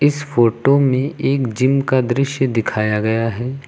इस फोटो में एक जिम का दृश्य दिखाया गया है।